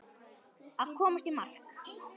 Að komast í mark